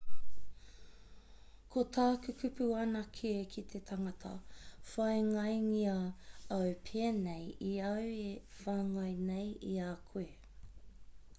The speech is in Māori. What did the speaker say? ko tāku kupu anake ki te tangata whāngaingia au pēnei i au e whāngai nei i a koe